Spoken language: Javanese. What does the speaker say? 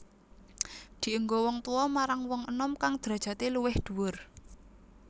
Dienggo wong tuwa marang wong enom kang drajadé luwih dhuwur